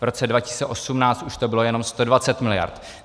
V roce 2018 už to bylo jenom 120 mld.